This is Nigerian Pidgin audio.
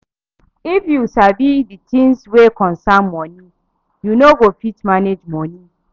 If yu no sabi di things wey concern moni, yu no go fit manage moni